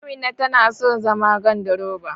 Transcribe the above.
Amina tana so zama gandiroba.